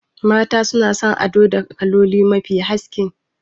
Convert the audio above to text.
Mata suna son ado da kaloli mafi haske